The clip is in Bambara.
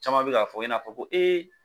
Caman bɛ k'a fɔ i n'a fɔ ko